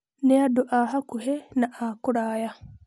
Na andũ a hakuhĩ na akũraya.